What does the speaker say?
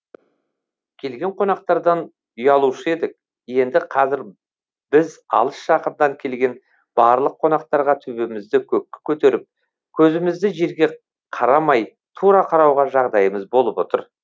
келген қонақтардан ұялушы едік енді қазір біз алыс жақыннан келген барлық қонақтарға төбемізді көкке көтеріп көзімізді жерге қарамай тура қарауға жағдаймыз болып отыр